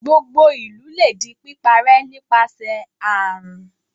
Gbogbo ìlú lè di píparẹ́ nípasẹ̀ àrùn.